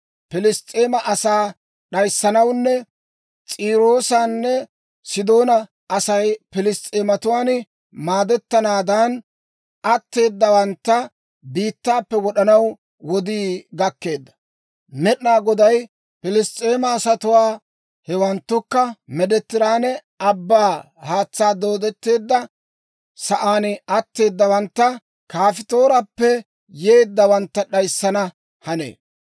Piliss's'eema asaa d'ayissanawunne S'iiroosanne Sidoona Asay piliss's'eematuwaan maaddetenaadan, atteedawantta biittaappe wod'anaw wodii gakkeedda. Med'inaa Goday Piliss's'eema asatuwaa, hewanttukka Meediteraane Abbaa haatsaan dooddetteedda sa'aan atteedawantta Kafttoorappe yeeddawantta d'ayissana hanee.